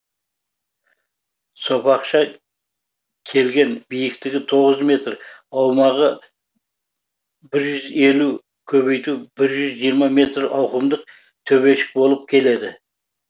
сопақша келген биіктігі тоғыз метр аумағы бір жүз елу көбейту бір жүз жиырма метр ауқымды төбешік болып келеді